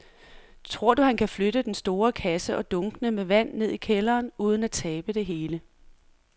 Tror du, at han kan flytte den store kasse og dunkene med vand ned i kælderen uden at tabe det hele?